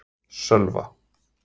Sölva